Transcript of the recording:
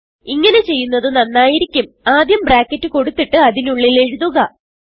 ഇങ്ങനെ ചെയ്യുന്നത് നന്നായിരിക്കും ആദ്യം ബ്രാക്കറ്റ് കൊടുത്തിട്ട് അതിനുള്ളിൽ എഴുതുക